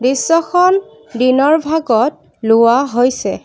দৃশ্যখন দিনৰ ভাগত লোৱা হৈছে।